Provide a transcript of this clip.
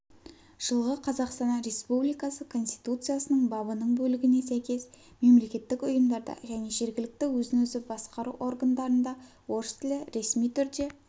жылғы қазақстан республикасы конституциясының бабының бөлігіне сәйкес мемлекеттік ұйымдарда және жергілікті өзін-өзі басқару органдарында орыс тілі ресми түрде